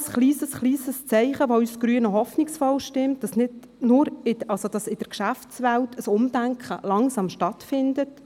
Das ist ein kleines Zeichen, das uns Grüne hoffen lässt, dass in der Geschäftswelt langsam ein Umdenken stattfindet.